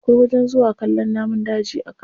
Akwai wajen zuwa kallon namun daji a kano.